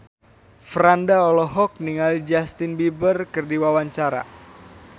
Franda olohok ningali Justin Beiber keur diwawancara